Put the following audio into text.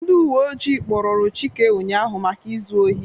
Ndị uwe ọjị kpụrụru Chike ụnyaahụ maka ịzụ ohi